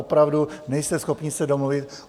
Opravdu nejste schopni se domluvit?